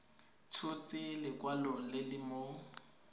tshotse lekwalo le le mo